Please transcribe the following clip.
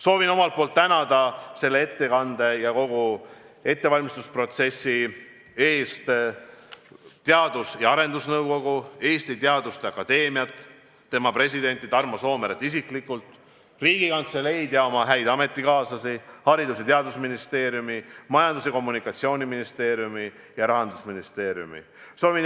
Soovin tänada ettekande ja kogu ettevalmistusprotsessi eest Teadus- ja Arendusnõukogu, Eesti Teaduste Akadeemiat, tema presidenti Tarmo Soomeret isiklikult, Riigikantseleid ja oma häid ametikaaslasi, Haridus- ja Teadusministeeriumi, Majandus- ja Kommunikatsiooniministeeriumi ning Rahandusministeeriumi.